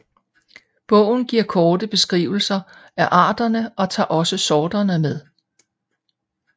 Bogen giver korte beskrivelser af arterne og tager også sorterne med